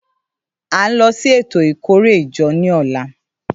À ń lọ sí ètò ìkórè ìjọ ní ọ̀la